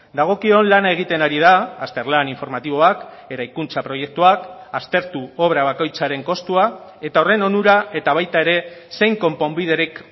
dagokion lana egiten ari da azterlan informatiboak eraikuntza proiektuak aztertu obra bakoitzaren kostua eta horren onura eta baita ere zein konponbiderik